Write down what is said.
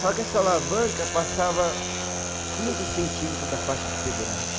Só que essa alavanca passava quinze centímetros da faixa de segurança.